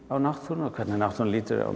á náttúruna og hvernig náttúran lítur á